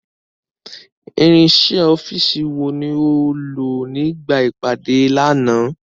Irinṣẹ́ ọ́fíìsì wo ni o lò nígbà ìpàdé lánàá?